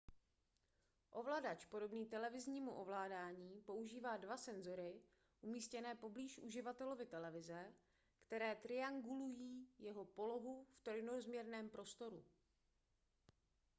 ovladač podobný televiznímu ovládání používá dva senzory umístěné poblíž uživatelovy televize které triangulují jeho polohu v trojrozměrném prostoru